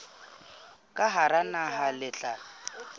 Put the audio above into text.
ka hara naha le tla